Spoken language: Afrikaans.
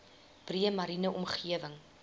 breë mariene omgewing